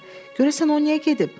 Görəsən o niyə gedib?